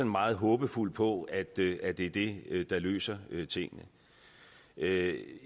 meget håbefuld på at det er det det der løser tingene jeg